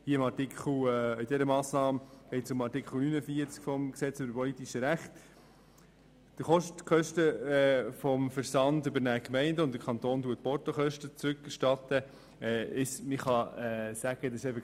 Bei dieser Massnahme geht es um den Artikel 49 des Gesetzes über die politischen Rechte (PRG).